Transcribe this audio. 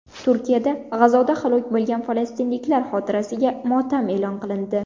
Turkiyada G‘azoda halok bo‘lgan falastinliklar xotirasiga motam e’lon qilindi.